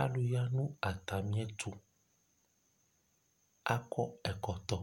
Alu ya nʋ atami ɩdʋ Akɔ ɛkɔtɔ